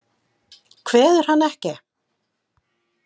Kveður hann ekki.